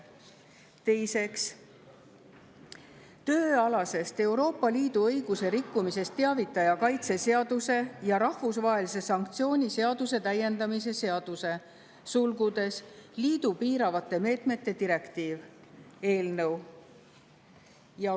Teiseks, tööalasest Euroopa Liidu õiguse rikkumisest teavitaja kaitse seaduse ja rahvusvahelise sanktsiooni seaduse täiendamise seaduse eelnõu.